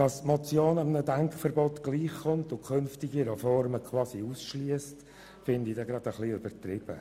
Dass die Reform einem Denkverbot gleichkommt und künftige Reformen quasi ausschliesst, finde ich ein bisschen übertrieben.